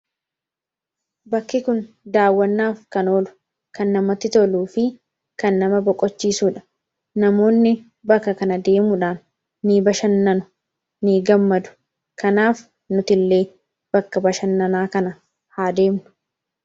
bakki kun daawwannaaf kan oolu, kan namatti toluu fi kan nama boqochiisuudha. namoonni bakka kana deemuudhaan ni bashannanu, ni gammadu kanaaf nuti illee bakka bashannanaa kana haa deemnu.